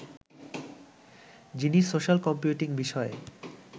যিনি social computing বিষয়ে